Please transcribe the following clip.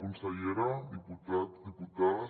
consellera diputats diputades